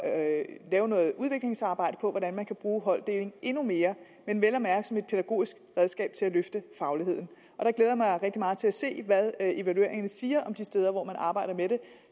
at lave noget udviklingsarbejde for at hvordan man kan bruge holddeling endnu mere men vel at mærke som et pædagogisk redskab til at løfte fagligheden jeg glæder mig rigtig meget til at se hvad evalueringerne siger om de steder hvor man arbejder med